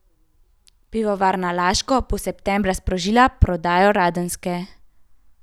Pivovarna Laško bo septembra sprožila prodajo Radenske.